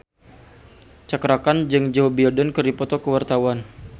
Cakra Khan jeung Joe Biden keur dipoto ku wartawan